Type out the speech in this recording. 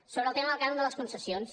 sobre el tema del cànon de les concessions